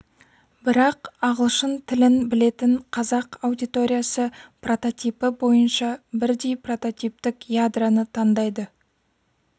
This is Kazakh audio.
бірақ ағылшын тілін білетін қазақ аудиториясы прототипі бойынша бірдей прототиптік ядроны таңдайды